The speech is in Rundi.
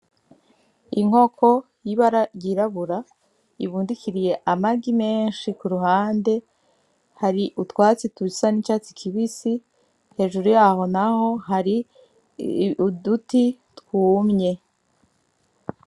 Inkoko y'ibara ry'irabura ibundikiriye amagi menshi kuruhande hari utwatsi dusa n'icatsi kibisi hejuru yaho naho hari uduti twumye.